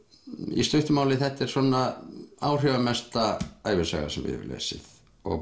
í stuttu máli þetta er svona áhrifamesta ævisaga sem ég hef lesið og